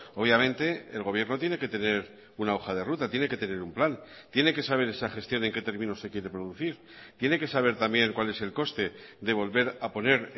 obviamente el gobierno tiene que tener una hoja de ruta tiene que tener un plan tiene que saber esa gestión en qué términos se quiere producir tiene que saber también cuál es el coste de volver a poner